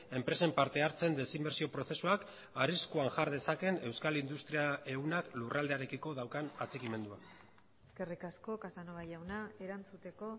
enpresen parte hartzeen desinbertsio prozesuak arriskuan jar dezakeen euskal industria ehunak lurraldearekiko daukan atxikimendua eskerrik asko casanova jauna erantzuteko